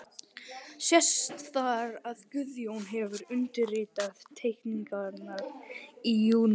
Sést þar, að Guðjón hefur undirritað teikningarnar í júní